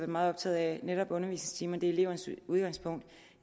meget optaget af netop undervisningstimer elevernes udgangspunkt